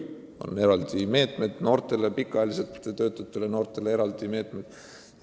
On eraldi meetmed noortele ja ka pikka aega tööta olnud inimestele.